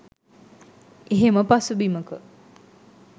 එහෙම පසුබිමක